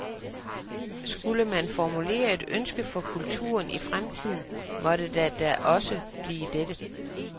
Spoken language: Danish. Skulle man formulere et ønske for kulturen i fremtiden måtte det da også blive dette.